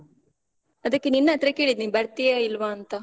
ಅದಕ್ಕೆ ನಿನ್ನ್ ಹತ್ರ ಕೇಳಿದ್ದ್, ನೀನ್ ಬರ್ತೀಯ ಇಲ್ವಾಂತ?